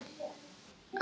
Þannig að þú talar.